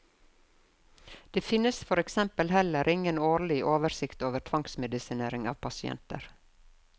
Det finnes for eksempel heller ingen årlig oversikt over tvangsmedisinering av pasienter.